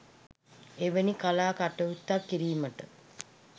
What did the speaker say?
එවැනි කලා කටයුත්තක් කිරීමට